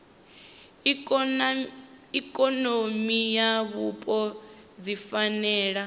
ikonomi na vhupo dzi fanela